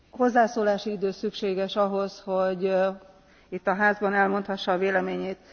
Hozzászólási idő szükséges ahhoz, hogy itt a házban elmondhassa a véleményét.